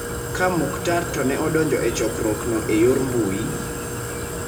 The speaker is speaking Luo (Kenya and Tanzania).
Ka Muktar to ne odonjo e chokruokno e yor mbui,